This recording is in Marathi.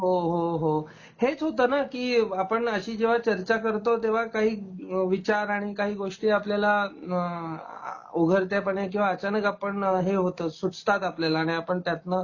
हो, हो, हो हेच होत ना की आपण अशी जेव्हा चर्चा करतो तेव्हा काही अ विचार आणि काही गोष्टी आपल्याला उघडत्यापणे किंवा अचानक आपण हे होत सुचतात आपल्याला आणि आपण त्यातन